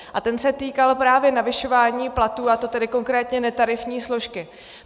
A ten se týkal právě navyšování platů, a to tedy konkrétně netarifní složky.